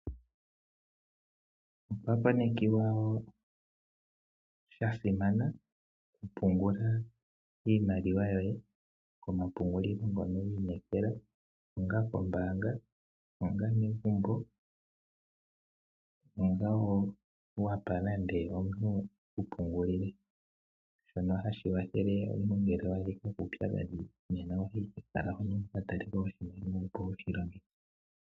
Okwa konekiwa wo sha simana okupungula iimaliwa yoye komapungulilo ngono wi inekela onga ombaanga, onga megumbo, onga wo wapa nande omuntu eku pungulile. Shono ohashi kwathele omuntu ngele owa adhika kuudhigu ohoyi owala kehala hono wuka taleko oshimaliwa wushi longithe.